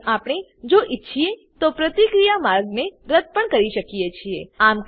તેમજ આપણે જો ઈચ્છીએ તો પ્રતિક્રિયા માર્ગને રદ્દ પણ કરી શકીએ છીએ